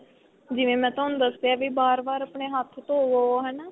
ਜਿਵੇਂ ਮੈਂ ਤੁਹਾਨੂੰ ਦੱਸਿਆ ਵੀ ਬਾਰ ਬਾਰ ਆਪਣੇ ਹੱਥ ਧੋਵੋ ਹਨਾ.